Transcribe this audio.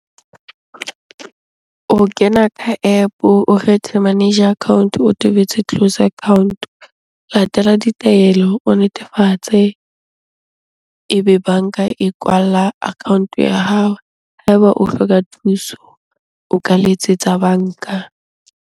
O kena ka App-o o kgethe manager account-o. O tobetse close account. Latela ditaelo, o netefatse ebe banka e kwala account-o ya hao. Ha eba o hloka thuso, o ka letsetsa banka.